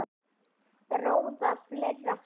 Ráða fleira fólk.